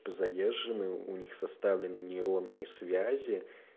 задержаны у них составлены нейронные связи